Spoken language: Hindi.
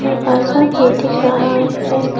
दरवाजा भी दिख रहा है।